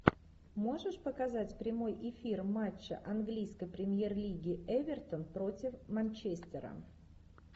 можешь показать прямой эфир матча английской премьер лиги эвертон против манчестера